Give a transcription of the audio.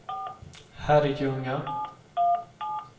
Herrljunga